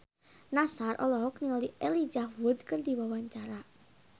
Nassar olohok ningali Elijah Wood keur diwawancara